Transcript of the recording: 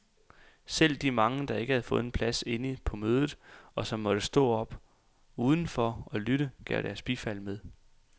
Selv de mange, der ikke havde fået en plads inde på mødet, og som måtte stå op uden for og lytte, gav deres bifald med.